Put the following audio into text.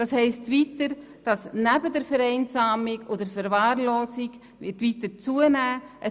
Dies heisst, dass Vereinsamung und Verwahrlosung weiter zunehmen werden.